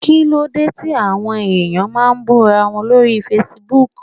Kíló dé tí àwọn ẹ̀yàn máa ń bú ra wọn lórí Facebook?